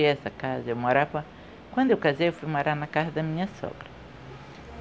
essa casa, eu morava... Quando eu casei, eu fui morar na casa da minha sogra.